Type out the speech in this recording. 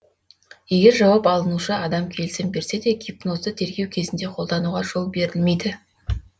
егер жауап алынушы адам келісім берсе де гипнозды тергеу кезінде қолдануға жол берілмейді